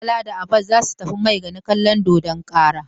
Gobe Bala da Abba za su tafi Maigana kallon dodon kara.